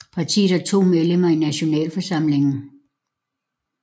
Partiet har to medlemmer i Nationalforsamlingen